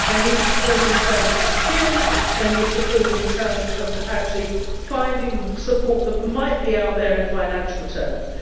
They need support in terms of the skills, and they need support in terms of actually finding support that might be out there in financial terms.